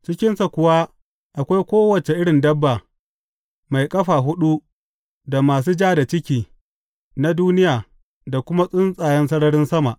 Cikinsa kuwa akwai kowace irin dabba mai ƙafa huɗu da masu ja da ciki na duniya da kuma tsuntsayen sararin sama.